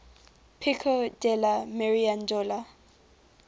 pico della mirandola